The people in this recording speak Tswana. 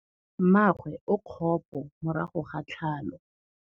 Mmagwe o kgapô morago ga tlhalô.